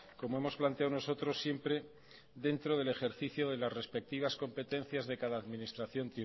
como hemos planteado nosotros siempre dentro del ejercicio de las respectivas competencias de cada administración